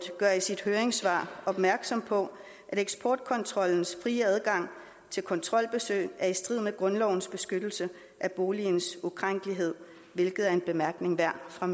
gør i sit høringssvar opmærksom på at eksportkontrollens frie adgang til kontrolbesøg er i strid med grundlovens beskyttelse af boligens ukrænkelighed hvilket er en bemærkning værd fra